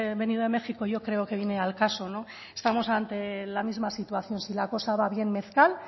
venido de méjico yo creo que viene al caso no estamos ante la misma situación si la cosa va bien